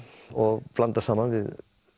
og blanda saman við